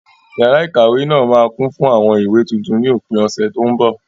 Yàrá ikawe náà máa kún fún àwọn ìwé tuntun ni òpin ọ̀sẹ̀ tó ń bọ̀.